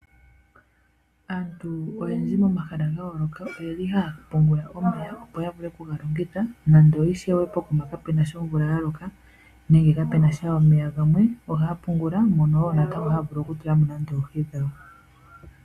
Aantu oyendji momahala ga yooloka ohaya pungula omeya, opo ya vule okulongitha uuna omvula inayi loka nawa nenge kapena omeya gamwe ohaya pungula mono haya vulu okutulamo nande oohi dhawo.